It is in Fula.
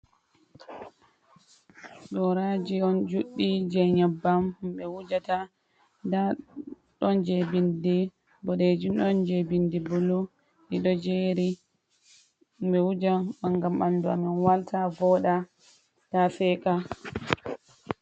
Goraji on juɗɗi je nyabbam ɓe wujata, nda ɗon je bindi bodeji, ɗon je bindi bulu, ɗiɗo jeri ɓe wuja on ngam ɓandu amin walta voda ta seka.